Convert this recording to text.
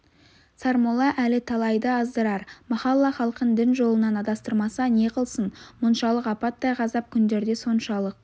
сармолла әлі талайды аздырар махалла халқын дін жолынан адастырмаса не қылсын мұншалық апаттай ғазап күндерде соншалық